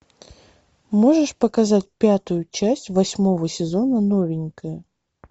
можешь показать пятую часть восьмого сезона новенькая